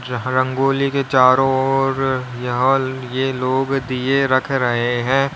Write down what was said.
जहां रंगोली के चारों ओर यहां ल ये लोग दिए रख रहे हैं।